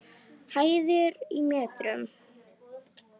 Hæðir í metrum.